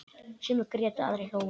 Sumir grétu, aðrir hlógu.